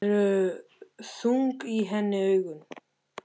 Það eru þung í henni augun.